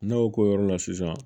Ne y'o k'o yɔrɔ la sisan